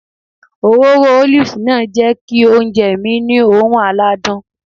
Òróró ólìfù náà jẹ́ kí oúnjẹ mi ní oòrùn aládùn